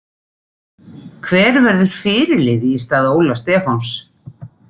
Hver verður fyrirliði í stað Óla Stefáns?